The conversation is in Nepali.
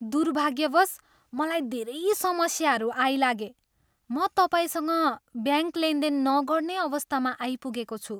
दुर्भाग्यवश मलाई धेरै समस्याहरू आइलागे म तपाईँसँग ब्याङ्क लेनदेन नगर्ने अवस्थामा आइपुगेको छु।